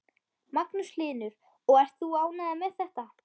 Magnús Hlynur: Og ert þú ánægður með þetta?